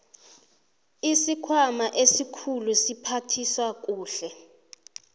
isikhwama esikhulu siphathisa kuhle